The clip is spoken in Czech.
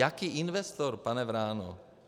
Jaký investor, pane Vráno?